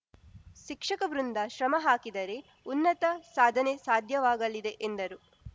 ಶಿಕ್ಷಕ ವೃಂದ ಶ್ರಮ ಹಾಕಿದರೆ ಉನ್ನತ ಸಾಧನೆ ಸಾಧ್ಯವಾಗಲಿದೆ ಎಂದರು